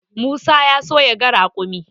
Musa ya so yaga raƙumin.